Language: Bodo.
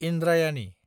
इन्द्रायानि